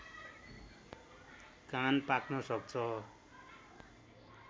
कान पाक्न सक्छ